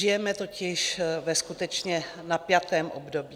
Žijeme totiž ve skutečně napjatém období.